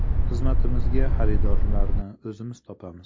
Xizmatimizga xaridorlarni o‘zimiz topamiz.